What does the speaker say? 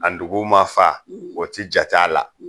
A duguw ma fa , o ti jate a la